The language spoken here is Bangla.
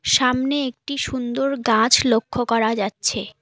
সামনে একটি সুন্দর গাছ লক্ষ্য করা যাচ্ছে।